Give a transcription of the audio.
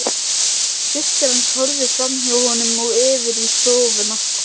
Systir hans horfði framhjá honum og yfir í stofuna.